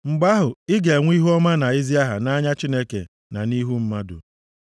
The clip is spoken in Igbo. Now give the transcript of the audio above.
Mgbe ahụ, ị ga-enwe ihuọma na ezi aha nʼanya Chineke na nʼihu mmadụ.